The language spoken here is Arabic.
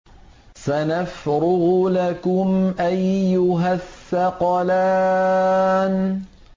سَنَفْرُغُ لَكُمْ أَيُّهَ الثَّقَلَانِ